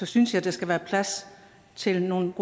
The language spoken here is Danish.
synes jeg der skal være plads til nogle